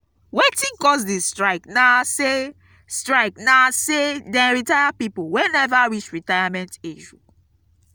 wetin cause di strike na sey strike na sey dem retire pipo wey neva reach retirement age.